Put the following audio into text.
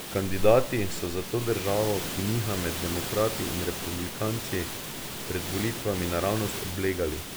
Kandidati so zato državo, ki niha med demokrati in republikanci, pred volitvami naravnost oblegali.